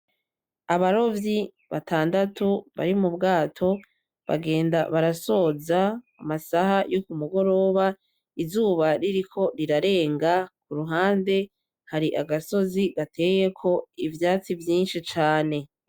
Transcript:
Abarovyi batandatu bari m’ubwato bagenda barasoza amasaha yo kumugoroba izuba ririko rirarenga , kuruhande hari agasozi gateyeko ivyatsi vyinshi cane.